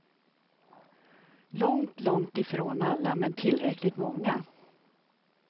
Långt, långt ifrån alla men tillräckligt många.